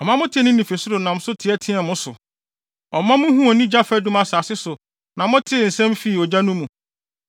Ɔma motee ne nne fi ɔsoro nam so teɛteɛɛ mo so. Ɔma muhuu ne gya fadum asase so na motee ne nsɛm fii ogya no mu.